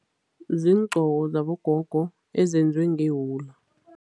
Ziingqoko zabogogo ezenziwe ngewula.